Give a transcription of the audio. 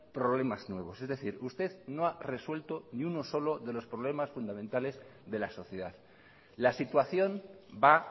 problemas nuevos es decir usted no ha resuelto ni uno solo de los problemas fundamentales de la sociedad la situación va